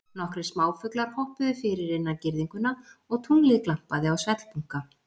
Nokkrir smáfuglar hoppuðu fyrir innan girðinguna og tunglið glampaði á svellbunka.